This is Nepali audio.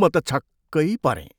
म त छक्कै परेँ।